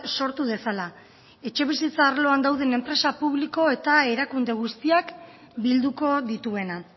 sortu dezala etxebizitza arloan dauden enpresa publiko eta erakunde guztiak bilduko dituena